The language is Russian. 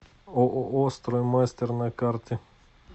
ооо строймастер на карте